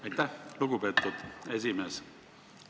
Aitäh, lugupeetud esimees!